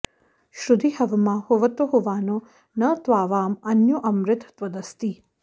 श्रुधी हवमा हुवतो हुवानो न त्वावाँ अन्यो अमृत त्वदस्ति